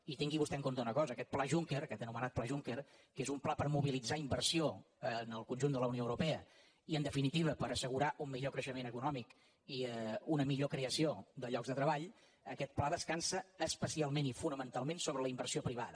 i tingui vostè en compte una cosa aquest pla juncker aquest anomenat pla juncker que és un pla per mobilitzar inversió al conjunt de la unió europea i en definitiva per assegurar un millor creixement econòmic i una millor creació de llocs de treball aquest pla descansa especialment i fonamentalment sobre la inversió privada